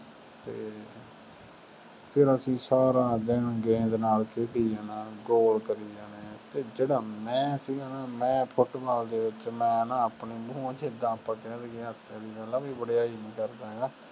ਅਤੇ ਫੇਰ ਅਸੀਂ ਸਾਰਾ ਦਿਨ ਗੇਂਦ ਨਾਲ ਖੇਡੀ ਜਾਣਾ, ਗੋਲ ਕਰੀ ਜਾਣੇ ਅਤੇ ਜਿਹੜਾ ਮੈਂ ਸੀਗਾ ਨਾ ਮੈਂ ਫੁੱਟਬਾਲ ਦੇ ਵਿੱਚ ਮੈਂ ਨਾ ਆਪਣੇ ਉੱਝ ਤਾਂ ਆਪਾਂ ਕਹਿ ਦੇਈਏ ਹਾਸੇ ਵਾਲੀ ਗੱਲ ਆ, ਕੋਈ ਵਡਿਆਈ ਨਹੀਂ ਕਰਦਾ ਹੈਗਾ,